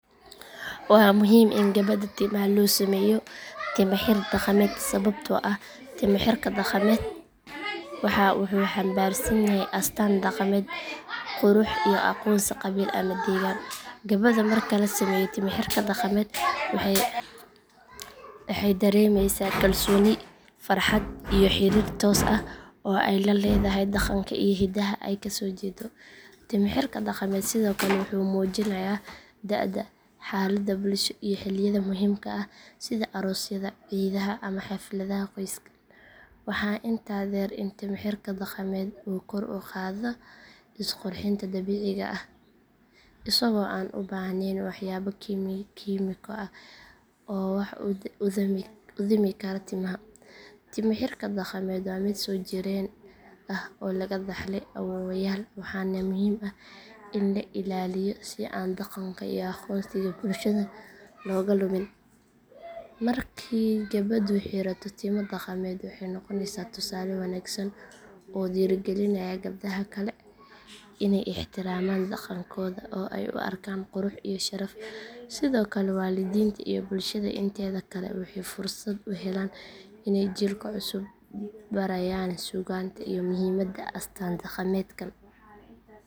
Waa muhiim in gabadha timaha loo sameeyo timo xir dhaqameed sababtoo ah timo xirka dhaqameed wuxuu xambaarsan yahay astaan dhaqameed, qurux iyo aqoonsi qabiil ama deegaan. Gabadha marka la sameeyo timo xirka dhaqameed waxay dareemeysaa kalsooni, farxad iyo xiriir toos ah oo ay la leedahay dhaqanka iyo hidaha ay kasoo jeedo. Timo xirka dhaqameed sidoo kale wuxuu muujinayaa da’da, xaaladda bulsho iyo xilliyada muhiimka ah sida aroosyada, ciidaha ama xafladaha qoyska. Waxaa intaa dheer in timo xirka dhaqameed uu kor u qaado is qurxinta dabiiciga ah isagoo aan u baahnayn waxyaabo kiimiko ah oo wax u dhimi kara timaha. Timo xirka dhaqameed waa mid soo jireen ah oo laga dhaxlay awoowayaal waxaana muhiim ah in la ilaaliyo si aan dhaqanka iyo aqoonsiga bulshada looga lumin. Markii gabadhu xirato timo dhaqameed waxay noqoneysaa tusaale wanaagsan oo dhiirrigelinaya gabdhaha kale inay ixtiraamaan dhaqankooda oo ay u arkaan qurux iyo sharaf. Sidoo kale waalidiinta iyo bulshada inteeda kale waxay fursad u helaan inay jiilka cusub barayaan suugaanta iyo muhiimadda astaan dhaqameedkan.